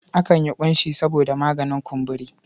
Akan yi ƙunshi saboda maganin kumburi.